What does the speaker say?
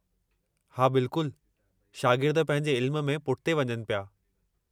हा, बिल्कुलु, शागिर्द पंहिंजे इल्म में पुठिते वञनि पिया।